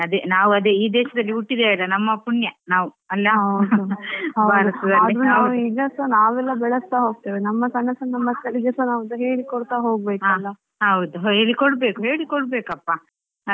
ಅದೇ ಅದೇ ನಾವ್ ಅದೇ ಈ ದೇಶದಲ್ಲಿ ಹುಟ್ಟಿದ್ವೆಯಲ್ಲಾ ನಮ್ಮ ಪುಣ್ಯ ನಾವು ಅಲ್ಲಾ.